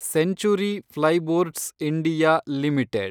century plyboards (India) limited